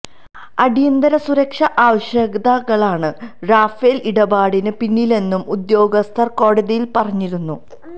അടിയന്തര സുരക്ഷാ ആവശ്യകതളാണ് റഫേൽ ഇടപാടിന് പിന്നിലെന്നും ഉദ്യോഗസ്ഥർ കോടതിയിൽ പറഞ്ഞിരുന്നു